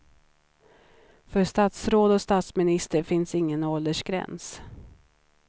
För statsråd och statsminister finns ingen åldersgräns.